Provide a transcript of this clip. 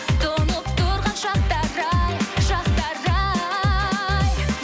тұнып тұрған шақтар ай шақтар ай